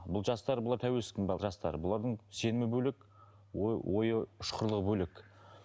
бұл жастар бұлар тәуелсіздік жастары бұлардың сенімі бөлек ой ойы ұшқырлығы бөлек